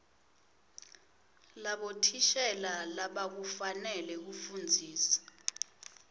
labothishela labakufanele kufundzisa